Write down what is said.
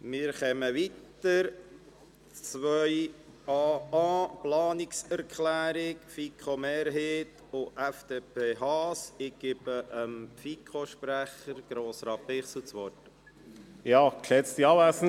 Der Grosse Rat unterstützt den Regierungsrat in der Umsetzung der Planungserklärung Brönnimann im geforderten Umfang, fordert aber ein weitgehendes Ausklammern der dezentralen Verwaltung (Regierungsstatthalter, Verwaltungskreise, Handelsregisteramt, Grundbuchämter, Betreibungs- und Konkursämter, Kindes- und Erwachsenenschutzbehörde).